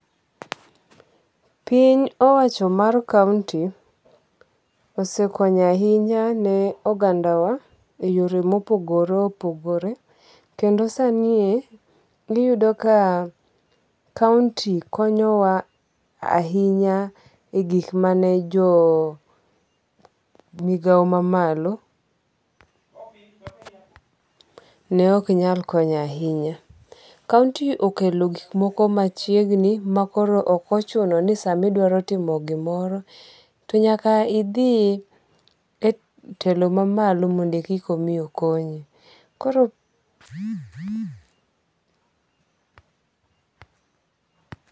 Piny owacho mar kaunti osekonyo ahinya ne oganda wa e yore mopogore opogore. Kendo sanie iyudo ka kaunti konyo wa ahinya e gik mane jo migao mamalo ne ok nyal konyo ahinya. Kaunto okelo gik moko machiegni makoro ok ochuno ni sama idwaro timo gimoro to nyaka to idhi e telo mamalo mondo koki omi okonyi.